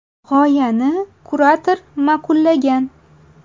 G‘oyani kurator ma’qullagan.